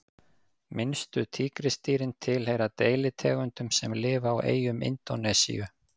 minnstu tígrisdýrin tilheyra deilitegundum sem lifa á eyjum indónesíu